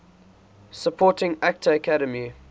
supporting actor academy